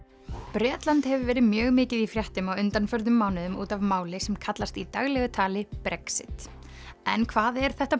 Bretland hefur verið mjög mikið í fréttum á undanförnum mánuðum út af máli sem kallast í daglegu tali Brexit en hvað er þetta